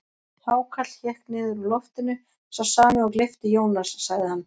Hákarl hékk niður úr loftinu, sá sami og gleypti Jónas, sagði hann.